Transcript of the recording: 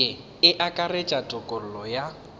ye e akaretša tokologo ya